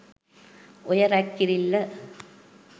ඔය රැග් කිරිල්ල